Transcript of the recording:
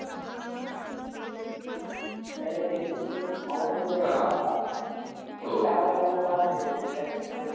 त्याले इंडियाचे player सवय तिथे काम करणारे लोकं आहे ना इंडियातले काहीकाही player